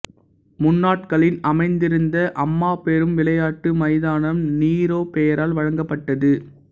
முன்னாட்களின் அமைந்திருந்த அம்மாபெரும் விளையாட்டு மைதானம் நீரோ பெயரால் வழங்கப்பட்டது